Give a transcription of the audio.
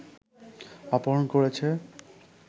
অপহরণ করেছে